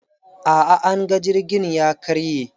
A'a, anga jirgin ya karye.